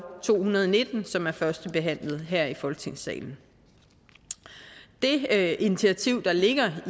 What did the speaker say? to hundrede og nitten som er førstebehandlet her i folketingssalen det initiativ der ligger